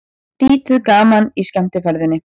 Lítið gaman í skemmtiferðinni